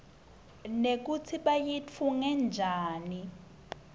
nekutsi bayitfunge njani